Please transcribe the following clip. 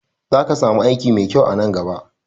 Za ka samu aiki mai kyau a nan gaba